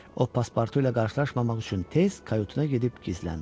O paspartu ilə qarşılaşmamaq üçün tez kayutuna gedib gizləndi.